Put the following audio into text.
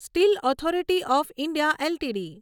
steel authority of India LTD